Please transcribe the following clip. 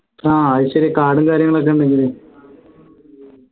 ആഹ് അത് ശരിയാ card കാര്യങ്ങളൊക്കെ ഉണ്ടെങ്കിലെ